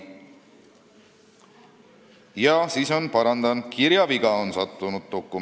Jaa, ma parandan, dokumenti on sattunud kirjaviga.